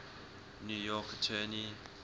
new york attorney